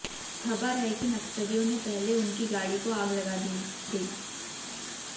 खबर है कि नक्सलियों ने पहले उनकी गाड़ी को आग लगा दी गई